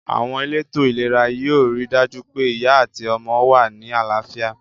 Àwon elétò ìlera yio ri dàjú pe ìyá àti ọmọ wa ni àláfíà